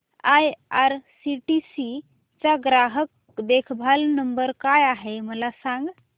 IRCTC चा ग्राहक देखभाल नंबर काय आहे मला सांग